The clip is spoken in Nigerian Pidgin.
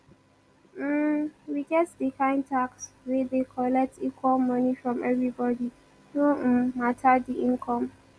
um we get di kind tax wey dey collect equal money from every body no um matter di income